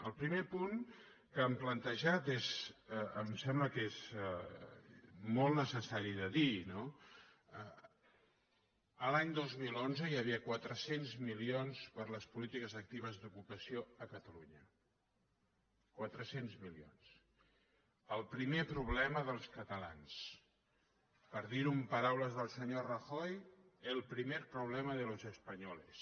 el primer punt que han plantejat em sembla que és molt necessari de dir no a l’any dos mil onze hi havia quatre cents milions per a les polítiques actives d’ocupació a catalunya quatre cents milions el primer problema dels catalans per dir ho en paraules del senyor rajoy el primer problema de los espanyoles